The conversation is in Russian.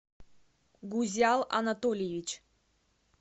гузял анатольевич